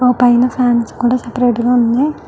ఆ పైన ఫాన్స్ కూడా సెపెరేట్ గ ఉన్నాయి.